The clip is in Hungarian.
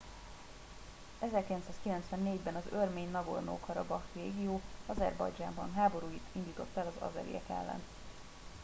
1994 ben az örmény nagorno karabakh régió azerbajdzsánban háborút indított az azeriek ellen